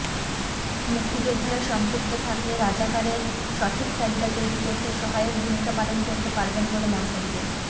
মুক্তিযোদ্ধারা সম্পৃক্ত থাকলে রাজাকারের সঠিক তালিকা তৈরি করতে সহায়ক ভূমিকা পালন করতে পারবেন বলে মন্তব্য